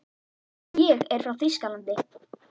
Ég er frá Þýskalandi.